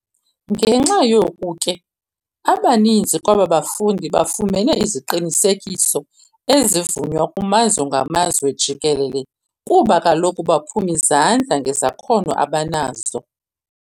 Ngenxa yoku ke, abaninzi kwaba bafundi, bafumene iziqinisekiso ezivunywa kumazwe ngamazwe jikelele, kuba kaloku baphum'izandla ngezakhono abanazo.